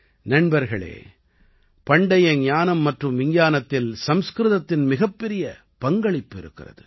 நண்பர்களே பண்டைய ஞானம் மற்றும் விஞ்ஞானத்தில் சம்ஸ்கிருதத்தின் மிகப்பெரிய பங்களிப்பு இருக்கிறது